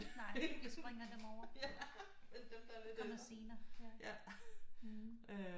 Nej det springer dem over det kommer senere ja